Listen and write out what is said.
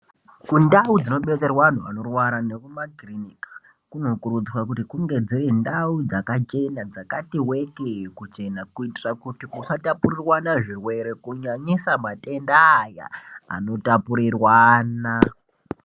Kundau dzinobetserwa antu anorwara nekumakirinika kunokurudzirwa kuti kunge dziri ndau dzakachena dzakati week kuchena kuitira kuti dzisatapurirwana zvirwere kunyanyisa matenda aya anotapurirwana.